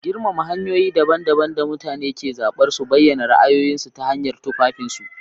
Girmama hanyoyi daban-daban da mutane ke zaɓar su bayyana ra'ayoyinsu ta hanyar tufafinsu.